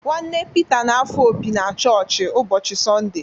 Nwanne Pita na-afụ opi na chọọchị ụbọchị Sọnde.